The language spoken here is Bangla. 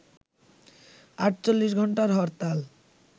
৪৮ ঘণ্টার হরতাল